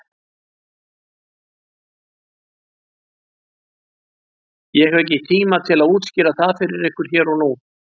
Ég hef ekki tíma til að útskýra það fyrir ykkur hér og nú.